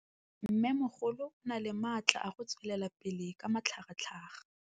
Mmêmogolo o na le matla a go tswelela pele ka matlhagatlhaga.